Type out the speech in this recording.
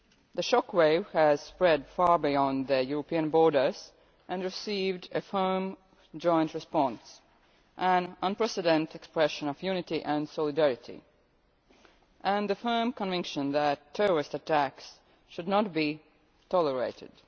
The shockwave has spread far beyond European borders and there has been a firm joint response an unprecedented expression of unity and solidarity, and the firm conviction that terrorist attacks should not be tolerated.